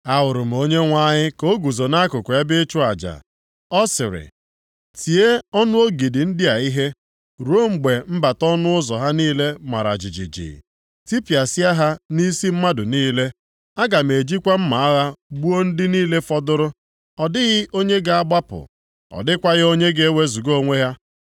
Ahụrụ m Onyenwe anyị ka ọ guzo nʼakụkụ ebe ịchụ aja, ọ sịrị, “Tie ọnụ ogidi ndị a ihe, ruo mgbe mbata ọnụ ụzọ ha niile mara jijiji. Tipịasịa ha nʼisi mmadụ niile; aga m ejikwa mma agha gbuo ndị niile fọdụrụ. Ọ dịghị onye ga-agbapụ, ọ dịkwaghị onye ga-ewezuga onwe ya.